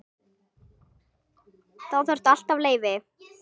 Þá þarftu alltaf leyfi.